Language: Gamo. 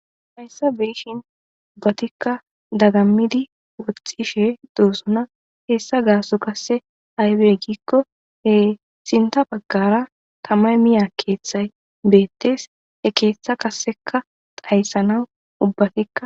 hayssa beyishin ubbatikka dagammidi woxxishe doosona heessa gaaso kasse aybe giikko he sinta baggara tama miya keeththay beettes e keeththa kasseka dayssanawu ubbatikka